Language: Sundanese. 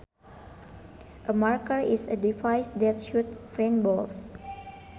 A marker is a device that shoots paintballs